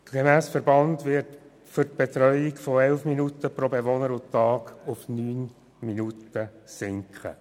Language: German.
Gemäss Verband wird die Betreuung pro Bewohner und Tag von 11 Minuten auf 9 Minuten sinken.